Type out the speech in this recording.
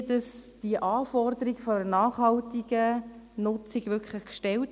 Wie werden die Anforderungen an eine nachhaltige Nutzung gestellt?